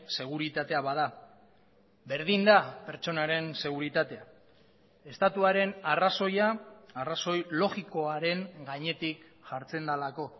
seguritatea bada berdin da pertsonaren seguritatea estatuaren arrazoia arrazoi logikoaren gainetik jartzen delako